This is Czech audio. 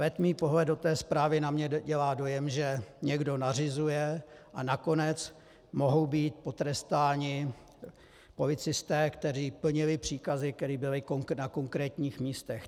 Letmý pohled do té zprávy na mě dělá dojem, že někdo nařizuje, a nakonec mohou být potrestáni policisté, kteří plnili příkazy, které byly na konkrétních místech.